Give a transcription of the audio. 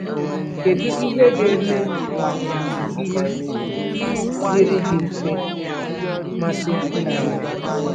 Kedu ihe ga-eme ka ọmụmụ ihe dịrị gị mfe, masị gị karịa?